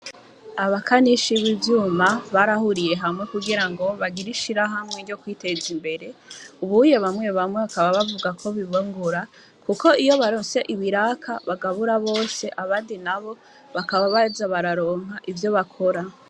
Abakanisha y'ibizuma barahuriye hamwe kugira ngo bagira ishira hamwe ryo kwiteza imbere ubuye bamwe bamwe bakaba bavuga ko bibongura, kuko iyo baronse ibiraka bagabura bose abadi na bo bakaba baza bararonka ivyo bakora.